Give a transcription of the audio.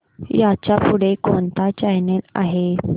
ह्याच्या पुढे कोणता चॅनल आहे